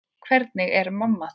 Hvernig er mamma þín?